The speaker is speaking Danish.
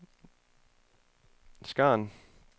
scan